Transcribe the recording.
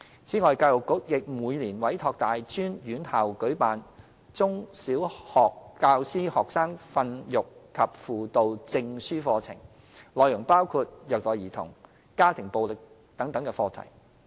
此外，教育局亦每年委託大專院校舉辦"中/小學教師學生訓育及輔導證書課程"，內容包括虐待兒童、家庭暴力等課題。